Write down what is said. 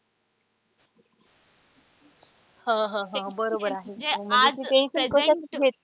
हा हा हा बरोबर आहे म्हणजे ते